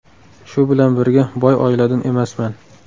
Shu bilan birga, boy oiladan emasman.